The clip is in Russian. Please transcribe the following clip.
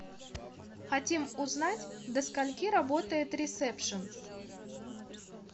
хотим узнать до скольки работает ресепшен